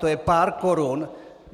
To je pár korun.